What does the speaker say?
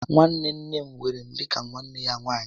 Nwanne nne m weere m dịka nwa ya nwaanyị